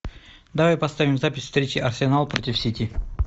давай поставим запись встречи арсенал против сити